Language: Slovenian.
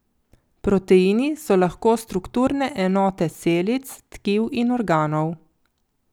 Proteini so lahko strukturne enote celic, tkiv in organov.